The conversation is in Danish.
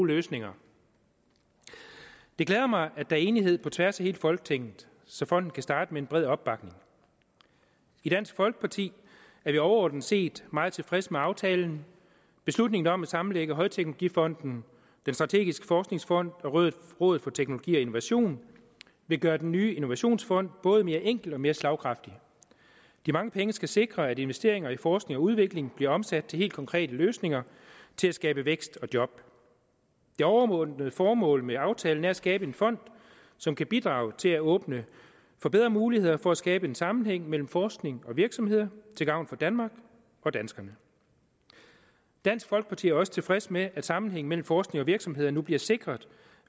løsninger det glæder mig at er enighed på tværs af hele folketinget så fonden kan starte med en bred opbakning i dansk folkeparti er vi overordnet set meget tilfreds med aftalen beslutningen om at sammenlægge højteknologifonden den strategiske forskningsfond og rådet for teknologi og innovation vil gøre den nye innovationsfond både mere enkel og mere slagkraftig de mange penge skal sikre at investeringer i forskning og udvikling bliver omsat til helt konkrete løsninger til at skabe vækst og job det overordnede formål med aftalen er at skabe en fond som kan bidrage til at åbne for bedre muligheder for at skabe en sammenhæng mellem forskning og virksomheder til gavn for danmark og danskerne dansk folkeparti er også tilfreds med at sammenhængen mellem forskning og virksomheder nu bliver sikret